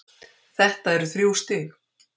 Þetta eru þrjú stig!